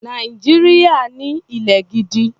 Nàìjíríà ní ilẹ̀ gidi.